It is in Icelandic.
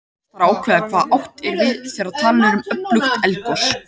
Fyrst þarf að ákveða hvað átt er við þegar talað er um öflugt eldgos.